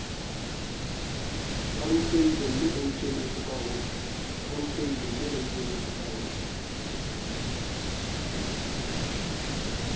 ba rutehilemme ba ikemetse kahohle